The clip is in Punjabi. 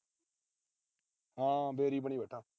ਹਾਂ ਬਣੀ ਬੈਠਾ।